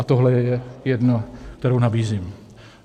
A tohle je jedna, kterou nabízím.